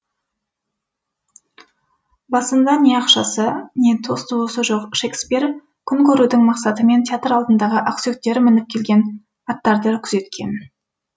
басында не ақшасы не дос туысы жоқ шекспир күн көрудің мақсатымен театр алдындағы ақсүйектер мініп келген аттарды күзеткен